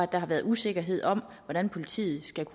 der har været usikkerhed om hvordan politiet skal